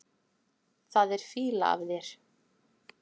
Það er fýla af þér.